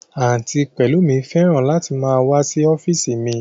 Àǹtí Pẹlumi fẹ́ràn láti máa wá sí ọ́físì mi